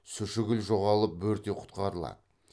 сушігіл жоғалып бөрте құтқарылады